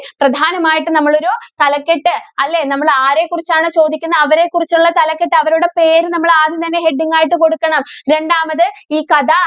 പ്രധാനമായിട്ടും നമ്മള് ഒരു തലക്കെട്ട്‌ അല്ലേ? നമ്മള് ആരെക്കുറിച്ചാണ് ചോദിക്കുന്നേ അവരെ കുറിച്ചുള്ള തലക്കെട്ട്, അവരുടെ പേര് നമ്മള് ആദ്യം തന്നെ heading ആയിട്ട് കൊടുക്കണം. രണ്ടാമത്, ഈ കഥ